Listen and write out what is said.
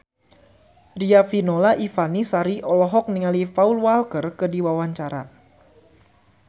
Riafinola Ifani Sari olohok ningali Paul Walker keur diwawancara